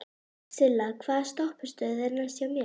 Silla, hvaða stoppistöð er næst mér?